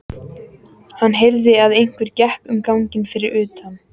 Hann heyrði að einhver gekk um ganginn fyrir utan.